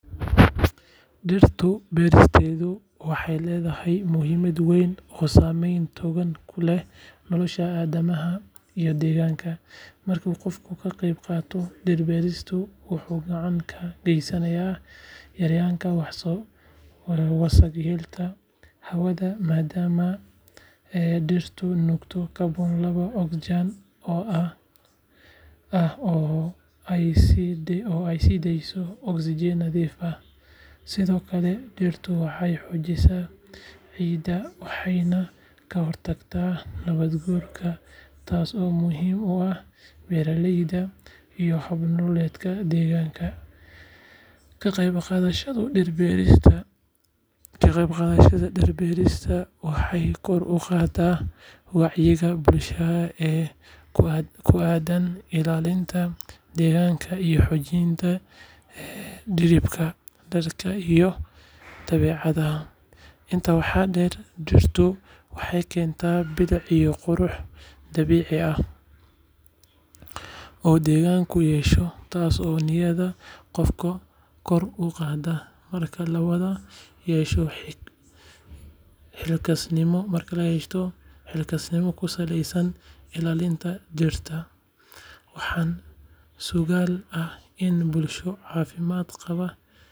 Dhirta beeristeedu waxay leedahay muhiimad weyn oo saameyn togan ku leh nolosha aadanaha iyo deegaanka. Marka qofku ka qaybqaato dhir-beerista, wuxuu gacan ka geysanayaa yaraynta wasakheynta hawada maadaama dhirtu nuugto kaarboon laba ogsaydh ah oo ay sii deyso oksijiin nadiif ah. Sidoo kale, dhirtu waxay xoojisaa ciidda, waxayna ka hortagtaa nabaad-guurka, taas oo muhiim u ah beeraleyda iyo hab-nololeedka deegaanka. Ka qaybqaadashada dhir-beerista waxay kor u qaaddaa wacyiga bulshada ee ku aaddan ilaalinta deegaanka iyo xoojinta xidhiidhka dadka iyo dabeecadda. Intaa waxaa dheer, dhirtu waxay keentaa bilic iyo qurux dabiici ah oo deegaanku yeesho, taas oo niyadda qofka kor u qaadda. Marka la wada yeesho xilkasnimo ku saleysan ilaalinta dhirta, waxaa suuragal ah in bulsho caafimaad qabta.